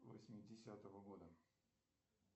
восьмидесятого года